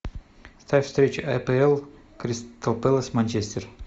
ставь встречу апл кристал пэлас манчестер